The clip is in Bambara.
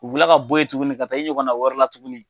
U bɛ kila ka bɔ yen tugunni ka taa i ɲɔgɔnna wɛrɛ la tugunni.